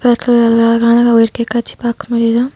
ஒரு அழகான ஒரு இயற்கை காட்சி பார்க்க முடியுது.